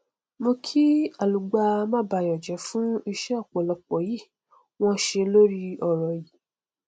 mo kí alàgbà mábayọjẹ fún iṣẹ ọpọlọ tí wọn ṣe lórí ọrọ yí